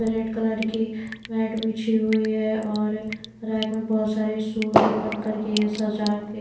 red colour की mat बीछी हुई है और रैक में बहुत सारे शूज ओपन करके सजा के--